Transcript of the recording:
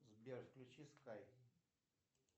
сбер включи скай